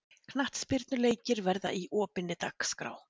Knattspyrnuleikir verði í opinni dagskrá